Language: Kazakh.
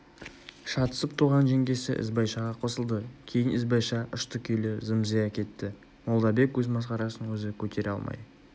шатысып туған жеңгесі ізбайшаға қосылды кейін ізбайша ұшты-күйлі зым-зия кетті молдабек өз масқарасын өзі көтере алмай